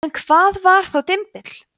en hvað var þá dymbill